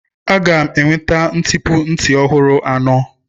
Aga m enweta ntipu nti ọhụrụ anọ.